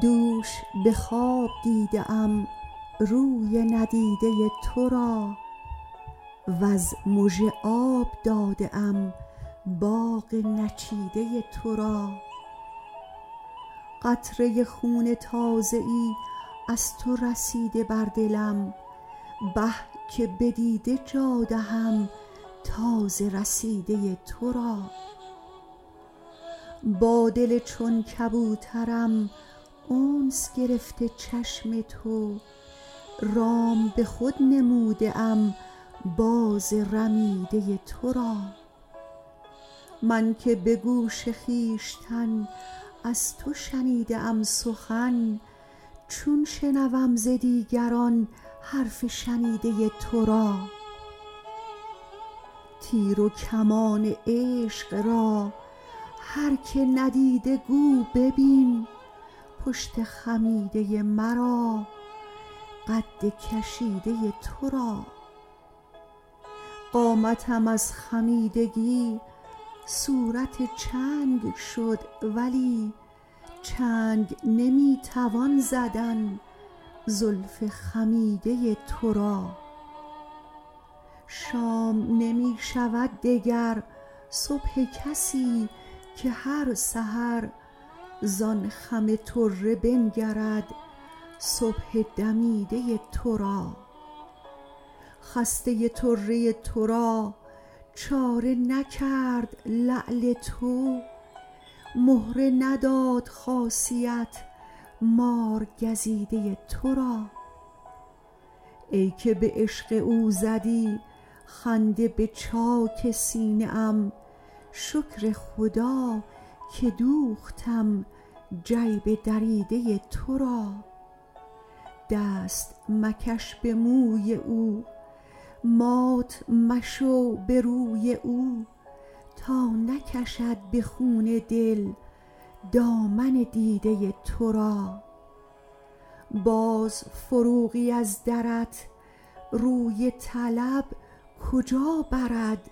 دوش به خواب دیده ام روی ندیده تو را وز مژه آب داده ام باغ نچیده تو را قطره خون تازه ای از تو رسیده بر دلم به که به دیده جا دهم تازه رسیده تو را با دل چون کبوترم انس گرفته چشم تو رام به خود نموده ام باز رمیده تو را من که به گوش خویشتن از تو شنیده ام سخن چون شنوم ز دیگران حرف شنیده تو را تیر و کمان عشق را هر که ندیده گو ببین پشت خمیده مرا قد کشیده تو را قامتم از خمیدگی صورت چنگ شد ولی چنگ نمی توان زدن زلف خمیده تو را شام نمی شود دگر صبح کسی که هر سحر زان خم طره بنگرد صبح دمیده تو را خسته طره تو را چاره نکرد لعل تو مهره نداد خاصیت مارگزیده تو را ای که به عشق او زدی خنده به چاک سینه ام شکر خدا که دوختم جیب دریده تو را دست مکش به موی او مات مشو به روی او تا نکشد به خون دل دامن دیده تو را باز فروغی از درت روی طلب کجا برد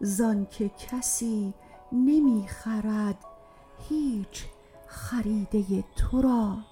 زان که کسی نمی خرد هیچ خریده تو را